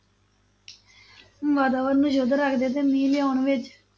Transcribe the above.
ਵਾਤਾਵਰਨ ਨੂੰ ਸ਼ੁੱਧ ਰੱਖਦੇ ਤੇ ਮੀਂਹ ਲਿਆਉਣ ਵਿਚ